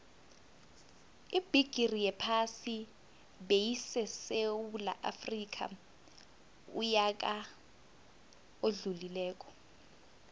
ibigixi yephasi beyisesewula afxica uyaka odlulile